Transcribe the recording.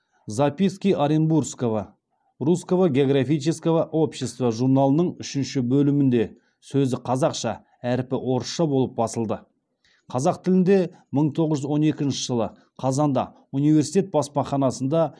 записки оренбургкого русского географического общества журналының үшінші бөлімінде сөзі қазақша әрпі орысша болып басылды қазақ тілінде мың тоғыз жүз он екінші жылы қазанда университет баспаханасында